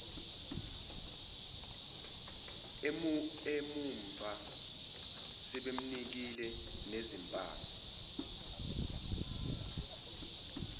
emumva sebemnike nezimpama